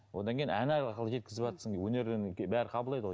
одан кейін ән арқылы жеткізіватсың өнерді енді бәрі қабылдайды ғой